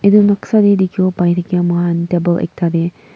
etu noksa te dekhi bo pari mur khan table ekta te.